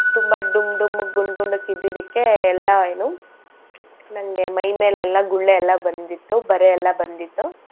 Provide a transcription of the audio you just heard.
ತುಂಬಾ ಡುಮ್ ಡಮ್ಮಕ್ ಗುಂಡ್ ಗುಂಡಕ್ ಇದ್ದಿದ್ದಕ್ಕೆ ಎಲ್ಲಾ ಏನು ನನ್ಗೆ ಮೈಮೆಲೆಲ್ಲಾ ಗುಳ್ಳೆ ಎಲ್ಲಾ ಬಂದಿತ್ತು ಬರೇ ಎಲ್ಲಾ ಬಂದಿತ್ತು.